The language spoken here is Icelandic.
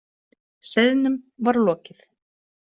Seiðnum var lokið.